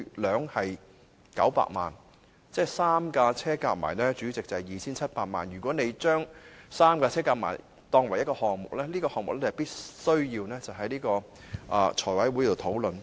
主席，這3輛車總值 2,700 萬元，如合組成為一個項目，此項目必須提交財務委員會討論。